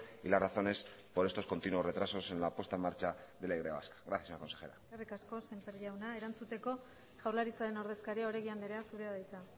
y las razones por estos continuos retrasos en la puesta en marcha de la y vasca gracias señora consejera eskerrik asko semper jauna erantzuteko jaurlaritzaren ordezkaria oregi anderea zurea da hitza